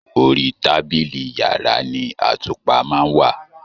Orí tábìlì yàrá ni àtùpà ma n wá